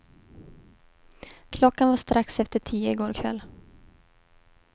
Klockan var strax efter tio i går kväll.